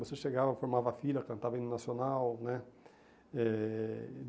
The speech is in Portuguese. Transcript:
Você chegava, formava filha, cantava hino nacional, né? Eh